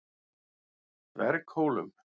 Dverghólum